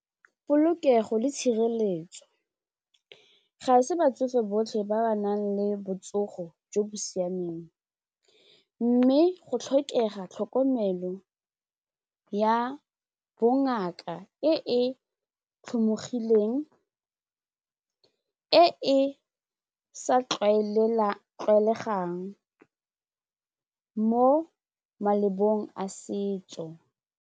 Polokego le tshireletso, ga se batsofe botlhe ba ba nang le botsogo jo bo siameng mme go tlhokega tlhokomelo ya bongaka ngaka e e tlhomologileng, e e sa tlwaelegang mo malebong a setso.